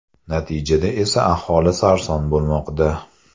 Natijada esa aholi sarson bo‘lmoqda.